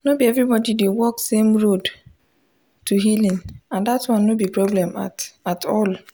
no be everybody dey walk same road to healing and that one no be problem at at all.